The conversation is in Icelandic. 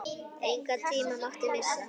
Engan tíma mátti missa.